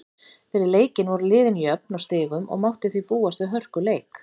Fyrir leikinn voru liðin jöfn á stigum og mátti því búast við hörkuleik.